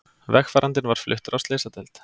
Vegfarandinn var fluttur á slysadeild